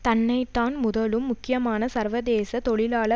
தன்னை தான் முதலும் முக்கியமான சர்வதேச தொழிலாள